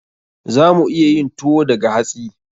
Za mu iya yin tuwo daga hatsi.